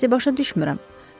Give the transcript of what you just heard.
Mən sizi başa düşmürəm.